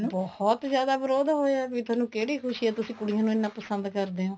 ਬਹੁਤ ਜਿਆਦਾ ਵਿਰੋਧ ਹੋਇਆ ਏ ਥੋਨੂੰ ਕਿਹੜੀ ਖੁਸ਼ੀ ਹੈ ਤੁਸੀਂ ਕੁੜੀਆਂ ਨੂੰ ਇੰਨਾ ਪਸੰਦ ਕਰਦੇ ਓ